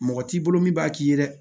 Mɔgɔ t'i bolo min b'a k'i ye dɛ